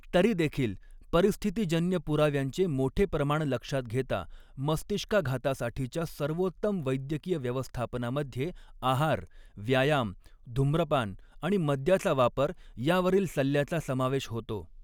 तरीदेखील, परिस्थितीजन्य पुराव्यांचे मोठे प्रमाण लक्षात घेता, मस्तिष्काघातासाठीच्या सर्वोत्तम वैद्यकीय व्यवस्थापनामध्ये आहार, व्यायाम, धूम्रपान आणि मद्याचा वापर यावरील सल्ल्याचा समावेश होतो.